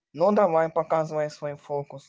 ну давай показывай свой фокус